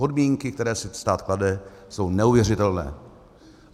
Podmínky, které si stát klade, jsou neuvěřitelné.